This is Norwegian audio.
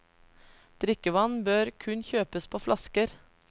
Drikkevann bør kun kjøpes på flasker.